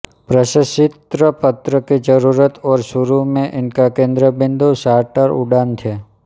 प्रशस्ति पत्र की जरूरत और शुरू में इसका केन्द्र बिंदु चार्टर उड़ान थे